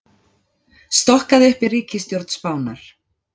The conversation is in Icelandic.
Stokkað upp í ríkisstjórn Spánar